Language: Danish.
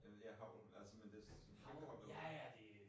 Jeg ved ja øh hagl. Men altså det det femdoblet nu